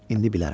İndi bilərəm.